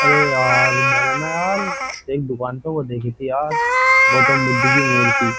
अरे यार मैंने ना यार एक दुकान पे वो देखी थी यार गौतम बुद्ध की मूर्ति --